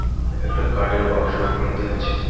একটা কাঠের বাক্সর মধ্যে আছে .